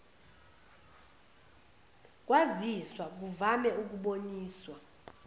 kwaziswa kuvame ukuboniswa